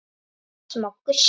Smá gustur.